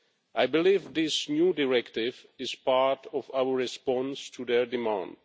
I believe that this new directive is part of our response to their demands.